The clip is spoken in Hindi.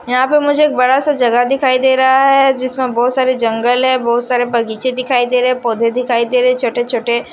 यहां पे मुझे एक बड़ासा जगह दिखाई दे रहा है जिसमें बहुत सारे जंगल है बहुत सारे बगीचे दिखाई दे रहे हैं पौधे दिखाई दे रहे है छोटे छोटे।